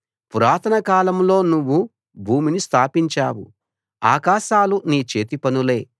పురాతన కాలంలో నువ్వు భూమిని స్థాపించావు ఆకాశాలు నీ చేతిపనులే